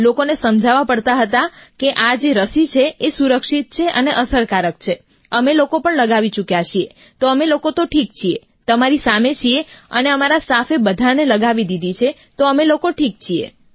લોકોને સમજાવવા પડતા હતા કે આ જે રસી છે સુરક્ષિત છે અને અસરકારક છે અમે લોકો પણ લગાવી ચૂક્યાં છીએ તો અમે લોકો તો ઠીક છીએ તમારી સામે છીએ અને અમારા સ્ટાફે બધાને લગાવી દીધી છે તો અમે લોકો ઠીક છીએ